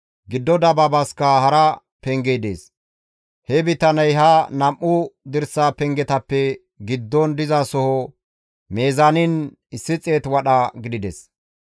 Giddo dabaabaska hara pengey dees. He bitaney ha nam7u dirsa pengetappe giddon dizasoho mizaanin 100 wadha gidides.